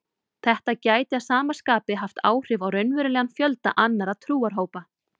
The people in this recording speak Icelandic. Þetta gæti að sama skapi haft áhrif á raunverulegan fjölda annarra trúarhópa.